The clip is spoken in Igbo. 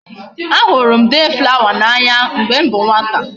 A huru m day flower na anya mgbe m bu nwata